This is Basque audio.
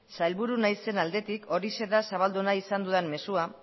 sailburu naizen aldetik horixe da zabaldu nahi izan dudan mezua